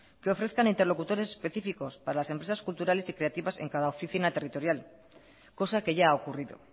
que ofrezcan interlocutores específicos para las empresas culturales y creativas en cada oficina territorial cosa que ya ha ocurrido